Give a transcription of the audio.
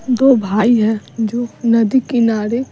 दो भाई हैं जो नदी किनारे --